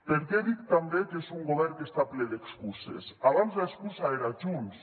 per què dic també que és un govern que està ple d’excuses abans l’excusa era junts